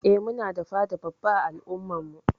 Eh Muna da fada babba ã al'umma'n mu.